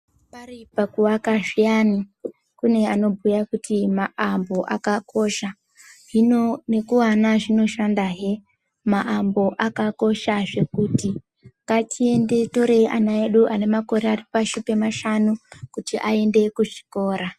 Pari pakuaka zviyani kune anobhuya kuti maambo akakosha, hino nekuana zvinoshandahe maambo akakosha zvekuti. Ngatiende torei ana edu ari pashi pemakore mashanu kuti aende kuzvikora.